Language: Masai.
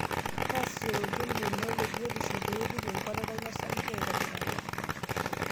Taasishore oltim lino lebiotisho pee irip enkuatata ino osarge aitobiraki.